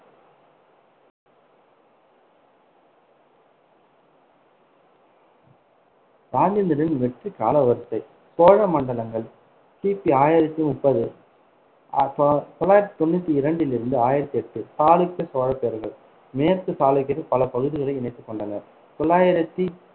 ராஜேந்திரனின் வெற்றி காலவரிசை சோழ மண்டலங்கள் கி பி ஆயிரத்தி முப்பது தொள்ளாயிரத்தி தொண்ணூத்தி இரண்டிலிருந்து ஆயிரத்தி எட்டு, சாளுக்கிய சோழப்பேரரசு, மேற்கு சாளுக்கியர்களின் பல பகுதிகளை இணைத்துக் கொண்டனர் தொள்ளாயிரத்தி